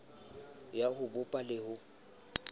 ya ho bopa le ho